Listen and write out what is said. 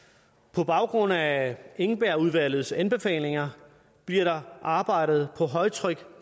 på baggrund af engbergudvalgets anbefalinger bliver der arbejdet på højtryk